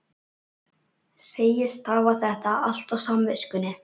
Segist hafa þetta allt á samviskunni.